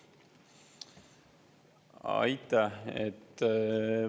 Aitäh!